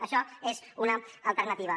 això és una alternativa